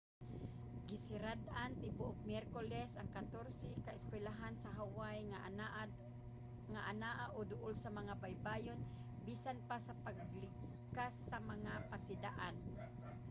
gisirad-an tibuok miyerkules ang katorse ka eskuylahan sa hawaii nga anaa o duol sa mga baybayon bisan pa sa paglibkas sa mga pasidaan